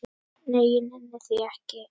Nei, ég nenni því ekki